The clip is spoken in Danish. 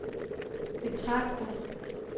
betragter